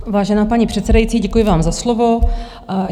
Vážená paní předsedající, děkuji vám za slovo.